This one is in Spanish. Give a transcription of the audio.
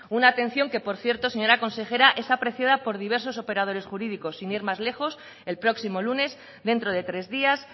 una atención que por cierto señora consejera es apreciada por diversos operadores jurídicos sin ir más lejos el próximo lunes dentro de tres días